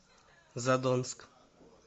задонск